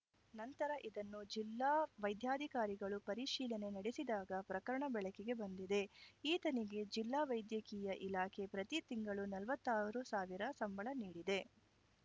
ನಂತರ ಇದನ್ನು ಜಿಲ್ಲಾ ವೈದ್ಯಾಧಿಕಾರಿಗಳು ಪರಿಶೀಲನೆ ನಡೆಸಿದಾಗ ಪ್ರಕರಣ ಬೆಳಕಿಗೆ ಬಂದಿದೆ ಈತನಿಗೆ ಜಿಲ್ಲಾ ವೈದ್ಯಕೀಯ ಇಲಾಖೆ ಪ್ರತಿ ತಿಂಗಳು ನಲ್ವತ್ತಾರು ಸಾವಿರ ಸಂಬಳ ನೀಡಿದೆ